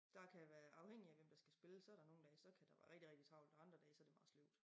Der kan være afhængig af hvem der skal spille så der nogen dage så kan der være rigtig rigtig travl og så der andre såd et bare sløvt